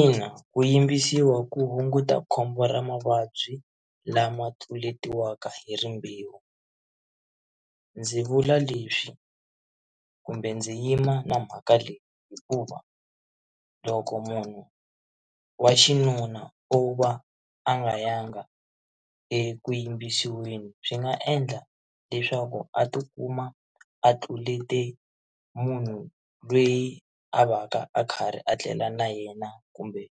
Ina, ku yimbisiwa ku hunguta khombo ra mavabyi lama tluletiwaka hi rimbewu ndzi vula leswi kumbe ndzi yima na mhaka leyi hikuva loko munhu wa xinuna u va a nga yanga eku yimbisiweni swi nga endla leswaku a tikuma a tlulete munhu loyi a va ka a karhi a tlela na yena kumbe